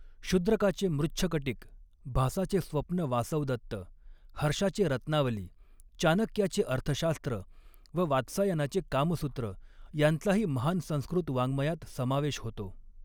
शुद्रकाचे मृच्छकटिक, भासाचे स्वप्न वासवदत्त, हर्षाचे रत्नावली, चाणक्याचे अर्थशास्त्र व वात्सायनाचे कामसूत्र यांचाही महान संस्कृत वाङ्मयात समावेश होतो.